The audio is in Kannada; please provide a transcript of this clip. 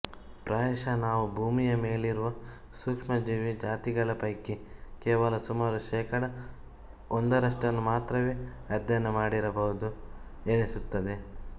ಪ್ರಾಯಶಃ ನಾವು ಭೂಮಿಯ ಮೇಲಿರುವ ಸೂಕ್ಷ್ಮಜೀವಿ ಜಾತಿಗಳ ಪೈಕಿ ಕೇವಲ ಸುಮಾರು ಶೇಕಡಾ ಒಂದರಷ್ಟನ್ನು ಮಾತ್ರವೇ ಅಧ್ಯಯನ ಮಾಡಿರಬಹುದು ಎನಿಸುತ್ತದೆ